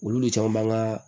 Olu de caman b'an ka